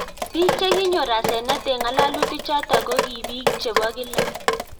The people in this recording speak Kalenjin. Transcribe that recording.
Piik chekinyoor asenet eng ng'alalutik chotok ko kii piik chepo kilaa